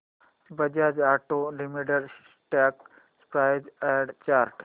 Bajaj auto limited stock price and chart